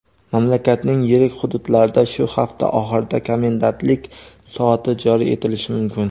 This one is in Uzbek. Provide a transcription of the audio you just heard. mamlakatning yirik hududlarida shu hafta oxirida komendantlik soati joriy etilishi mumkin.